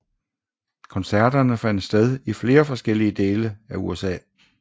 Koncerterne fandt sted i forskellige dele af USA